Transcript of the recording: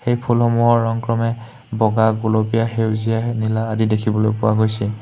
এই ফুলসমূহৰ ৰং ক্ৰমে বগা গুলপীয়া সেউজীয়া নীলা আদি দেখিবলৈ পোৱা গৈছে।